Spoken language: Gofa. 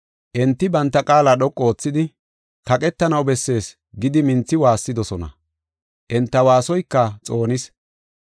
Enti banta qaala dhoqu oothidi, “Kaqetanaw bessees” gidi minthi waassidosona. Enta waasoyka xoonis.